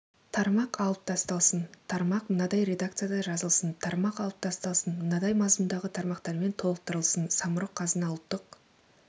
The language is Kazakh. тармақ алып тасталсын тармақ мынадай редакцияда жазылсын тармақ алып тасталсын мынадай мазмұндағы тармақтармен толықтырылсын самұрық-қазына ұлттық